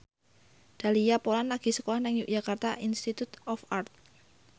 Dahlia Poland lagi sekolah nang Yogyakarta Institute of Art